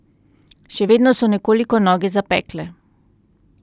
Še vedno so nekoliko noge zapekle.